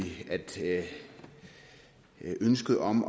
at ønsket om